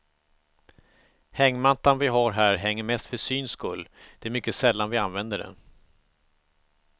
Hängmattan vi har här hänger mest för syns skull, det är mycket sällan vi använder den.